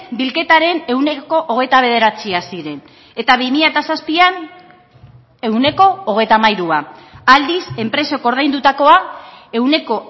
bilketaren ehuneko hogeita bederatzia ziren eta bi mila zazpian ehuneko hogeita hamairua aldiz enpresek ordaindutakoa ehuneko